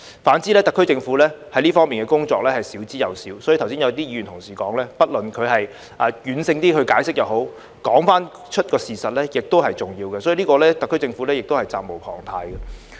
反之，特區政府在這方面的工作是少之又少，所以剛才有些議員同事說，即使軟性解釋也好，說出事實是重要的，特區政府就此是責無旁貸的。